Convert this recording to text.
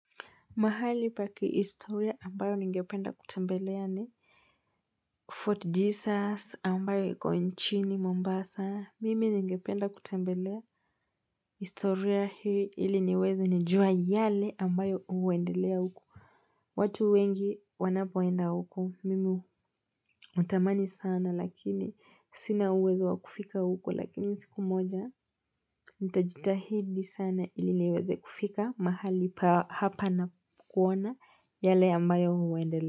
Mahali pakihistoria ambayo ningependa kutembelea ni Fort Jesus ambayo yuko nchini Mombasa. Mimi ningependa kutembelea historia hii ili niweze nijua yale ambayo huendelea huko. Watu wengi wanapoenda huku. Mimi hutamani sana lakini sina uwezo wa kufika huko lakini siku moja. Nitajitahidi sana ili niweze kufika. Mahali hapa na kuona yale ambayo huendelea.